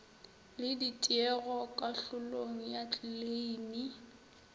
le ditiego kahlolong ya kleime